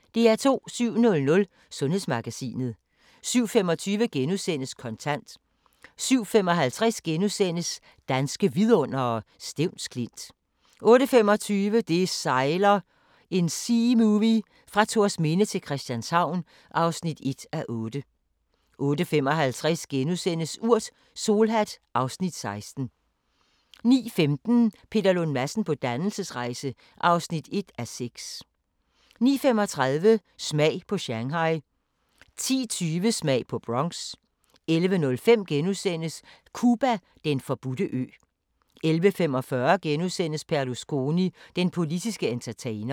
07:00: Sundhedsmagasinet 07:25: Kontant * 07:55: Danske vidundere: Stevns Klint * 08:25: Det sejler – en seamovie fra Thorsminde til Christianshavn (1:8) 08:55: Urt: Solhat (Afs. 16)* 09:15: Peter Lund Madsen på dannelsesrejse (1:6) 09:35: Smag på Shanghai 10:20: Smag på Bronx 11:05: Cuba: Den forbudte ø * 11:45: Berlusconi – den politske entertainer *